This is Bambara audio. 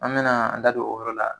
An be na an da don o yɔrɔ la